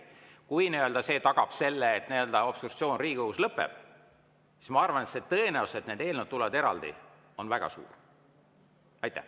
Kui see tagab selle, et obstruktsioon Riigikogus lõpeb, siis ma arvan, et tõenäosus, et need eelnõud tulevad eraldi, on väga suur.